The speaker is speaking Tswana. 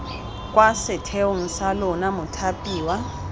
kwa setheong sa lona mothapiwa